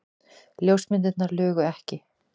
Ljósmyndirnar lugu ekki.